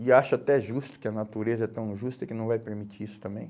E acho até justo que a natureza é tão justa que não vai permitir isso também.